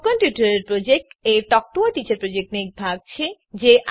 spoken tutorial project a talk to a teacher પ્રોજેક્ટનો એક ભાગ છે